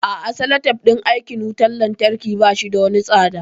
A'a salatif din aikin wutan lantarki bashi da wani tsada